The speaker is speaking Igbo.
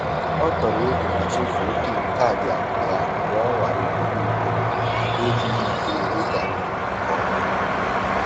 Ọ tọrọ egwu ma chefuo PIN kaadị akụ ya mgbe o nwara ugboro ugboro n’ebughị ihe ịga nke ọma.